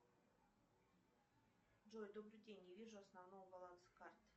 джой добрый день не вижу основного баланса карты